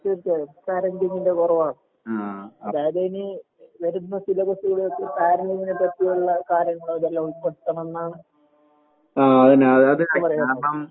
തീർച്ചയായും പാരന്റിങിന്റെ കൊറവാണ്. അതായത് ഇനി വരുന്ന സിലബസുകളിൽ പാരന്റിങിനെ പറ്റിയുള്ള കാര്യങ്ങള് അതെല്ലാം ഉൾപ്പെടുത്തണംന്നാണ് എനിക്ക് പറയാനുള്ളത്.